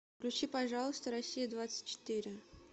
включи пожалуйста россия двадцать четыре